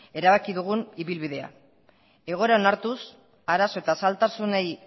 erabaki dugun ibilbidea egoera onartuz arazo eta zailtasunei